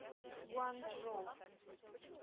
гуанчжоу